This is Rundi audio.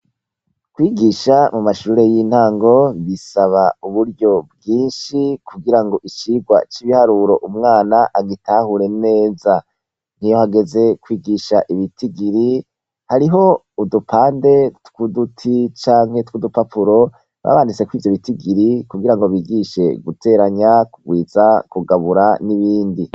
Kwigisha mumashure y’intango bisaba uburyo bwinshi kugirango icigwa c’ibiharuro umwana agitahure neza, iyo hageze kwigisha ibitigiri, hariho udupande tw’uduti canke tw’udupapuro baba banditseko ivyo bitigiri kugirango bigishe guteranya, kugwiza , kugabura n’ibindi.